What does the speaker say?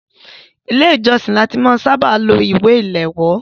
Ilé ìjósìn ni a ti ṣábà máa ń lo ìwé ìléwọ́.